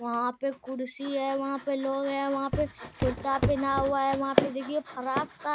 वहाँ पर कुर्सी हैवहाँ पे लोग है वहाँ पे कुर्ता पेहना हुआ है वहाँ पे देखिए फराक साड़ी --